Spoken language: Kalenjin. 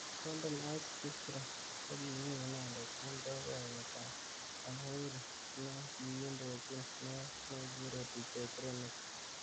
Golden Ice Bistro kokimi inendet eng boiboyet ab Jamhurinekiindojin neo nekekure Dj kronixx.